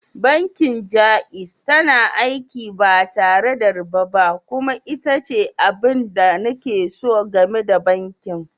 Bankin Jaiz tana aiki ba tare da riba ba kuma ita ce abin da nake so game da bankin.